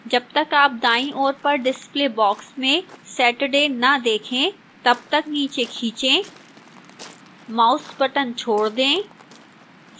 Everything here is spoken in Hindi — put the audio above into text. जब तक आप दाईं ओर पर display box में saturday न देखें तब तक नीचे खींचें माउस box छोड़ दें